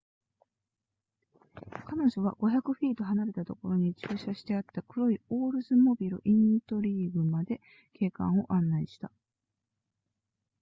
彼女は500フィート離れたところに駐車してあった黒いオールズモビルイントリーグまで警官を案内した